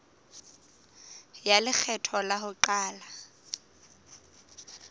ya lekgetho la ho qala